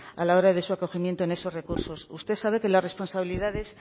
a la hora de su acogimiento en esos recursos usted sabe que las responsabilidades